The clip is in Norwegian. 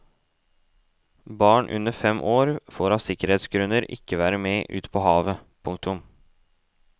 Barn under fem år får av sikkerhetsgrunner ikke være med ut på havet. punktum